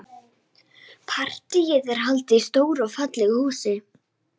Partíið er haldið í stóru og fallegu húsi.